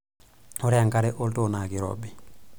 Ore enkare oltoo naa keirobi.